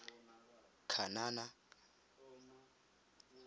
kanana